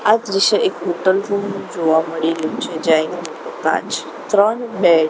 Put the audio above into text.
આ દ્રશ્ય એક હોટલ રુમ જોવા મળી રહ્યુ છે જ્યાં એક કાચ ત્રણ બેડ --